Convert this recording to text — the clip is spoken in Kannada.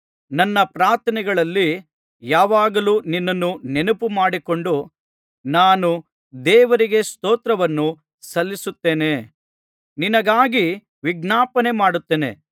ನನ್ನ ಪ್ರಾರ್ಥನೆಗಳಲ್ಲಿ ಯಾವಾಗಲೂ ನಿನ್ನನ್ನು ನೆನಪು ಮಾಡಿಕೊಂಡು ನಾನು ದೇವರಿಗೆ ಸ್ತೋತ್ರವನ್ನು ಸಲ್ಲಿಸುತ್ತೇನೆ ನಿನಗಾಗಿ ವಿಜ್ಞಾಪನೆ ಮಾಡುತ್ತೇನೆ